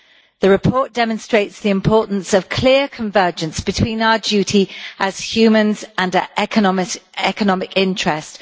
The report demonstrates the importance of clear convergence between our duty as humans and our economic interest.